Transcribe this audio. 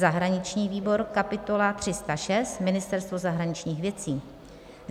zahraniční výbor: kapitola 306 - Ministerstvo zahraničních věcí,